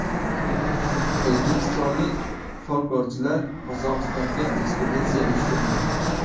O‘zbekistonlik folklorchilar Qozog‘istonga ekspeditsiya uyushtirdi.